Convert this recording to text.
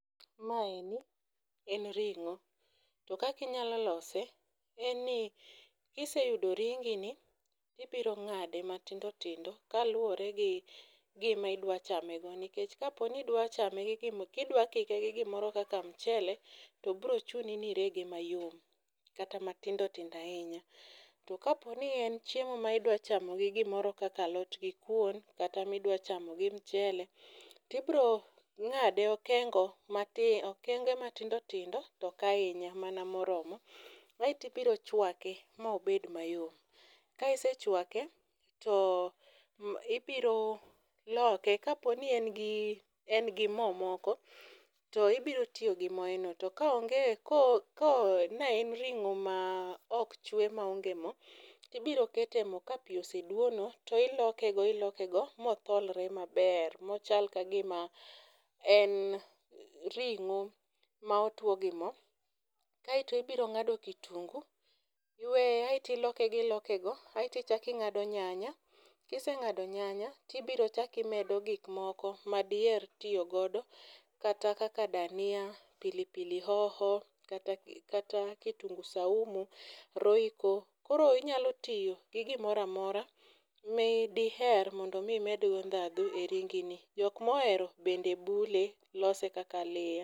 Maeni en ring'o. To kaki nyalo lose en ni kiseyudo ringi ni tibiro ng'ade matindotindo kaluwore gi gima idwa chame go nikech kidwa chame gi kapo ni dwa kike gi gimoro kaka mchele , to bro chuni ni irege mayom kata matindo tindo ahinya . To kaponi en chiemo ma idwa chamo gi gimoro kaka alot gi kuon kata midwa chamo gi mchele tibro ng'ade kengo matindo okenge matindotindo tok ahinya mana moromo . Aeto ibiro chwake mobed mayom ka isechwake to ibiro loke kaponi en gi en gi moo moko to ibiro tiyo gi moye no to kaonge ko ko ne en ring'o ma ok chwe ma onge moo tibiro kete mo kapi oseduono iloke go iloke go motholre maber mochal ka gima en ring'o ma otuo gi moo. kaeto ibro ng'ado kitungu aeto iloke iloke go . Aeto ichaki ng'ado nyanya kiseng'ado nyanya tibiro chaki medo gik moko madi her tiyo godo kata kaka dania, pilipili hoho kata kata kitungu saumu, royco. Koro inyalo tiyo gi gimora amora ma diher mondo mi omed go ndhadhu e ringi ni. Jok mohero bende bule, lose kaka aliya.